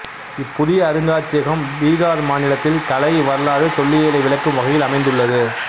இப்புதிய அருங்காட்சியகம் பிகார் மாநிலத்தில் கலை வரலாறு தொல்லியலை விளக்கும் வகையில் அமைந்துள்ளது